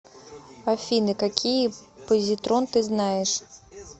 афина какие позитрон ты знаешь